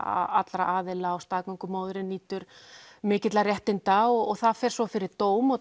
allra aðila og staðgöngumóðirin nýtur mikilla réttinda það fer svo fyrir dómara